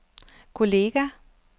kolleger